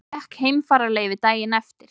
Fékk heimfararleyfi daginn eftir.